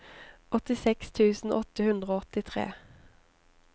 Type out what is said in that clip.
åttiseks tusen åtte hundre og åttitre